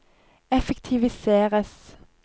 effektiviseres